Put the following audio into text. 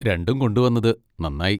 രണ്ടും കൊണ്ടുവന്നത് നന്നായി.